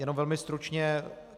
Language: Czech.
Jenom velmi stručně.